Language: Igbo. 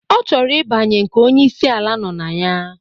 Ọ chọrọ ibanye nke onyi isi ala nọ na ya.